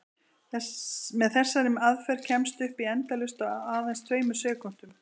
Með þessari aðferð kemstu upp í endalaust á aðeins tveimur sekúndum!